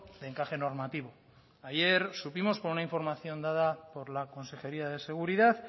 de encaje normativo ayer supimos por una información dada por la consejería de seguridad